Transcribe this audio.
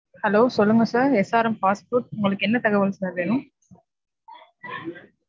hello சொல்லுங்க sir SRM fast food உங்களுக்கு என்ன தகவல் sir வேணும்?